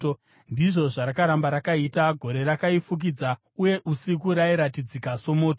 Ndizvo zvarakaramba rakaita; gore rakaifukidza, uye usiku rairatidzika somoto.